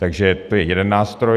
Takže to je jeden nástroj.